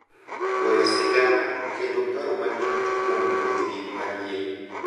Goyo sigana, kendo paro matut kuom wuodhgi mar yie,